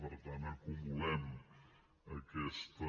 per tant acumulem aquesta